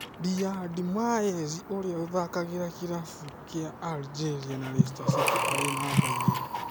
Riyad Mahrez ũria ũthakagira kĩravũkĩa Algeria na Leicester City arĩ numba igĩrĩ.